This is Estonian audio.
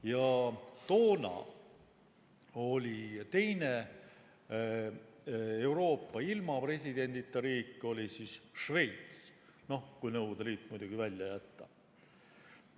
Ja toona oli teine Euroopa ilma presidendita riik Šveits – muidugi kui Nõukogude Liit välja jätta.